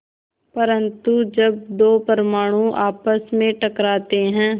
परन्तु जब दो परमाणु आपस में टकराते हैं